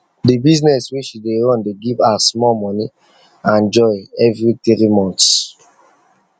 the business wey she dey run dey give her small money and joy every three months